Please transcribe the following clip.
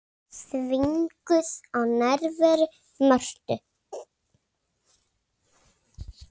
Þvinguð af nærveru Mörtu.